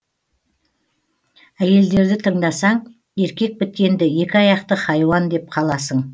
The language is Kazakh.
әйелдерді тыңдасаң еркек біткенді екі аяқты хайуан деп қаласың